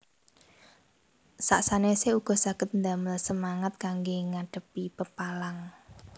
Sak sanèsé uga saged damel semangat kanggé ngadhepi pepalang